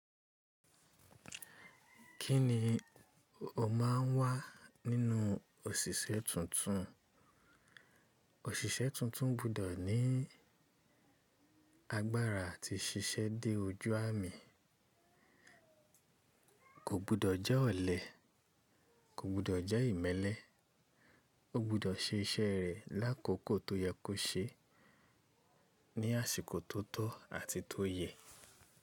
Kí ni o máa ń wá nínú òṣìṣẹ́ tuntun? Òṣìṣẹ́ tuntun gbudọ̀ ní agbára àti ṣiṣẹ́ dé ojú àmì. Kò gbọ́dọ̀ jẹ́ ọ̀lẹ, kò gbọ́dọ̀ jẹ́ ìmẹ́lẹ́. Ó gbudọ̀ ṣe iṣẹ́ rẹ̀ lákòókò tó yẹ kó ṣeé ní àsìkò tó tọ́ àti tó yẹ.